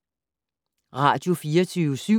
Radio24syv